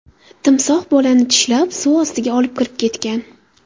Timsoh bolani tishlab, suv ostiga olib kirib ketgan.